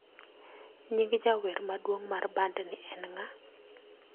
Nying jawer maduong' mar bandni en ng'a?